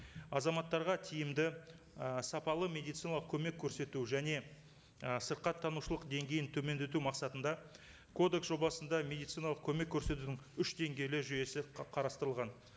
азаматтарға тиімді ы сапалы медициналық көмек көрсету және і сырқаттанушылық деңгейін төмендету мақсатында кодекс жобасында медициналық көмек көрсетудің үш деңгейлі жүйесі қарастырылған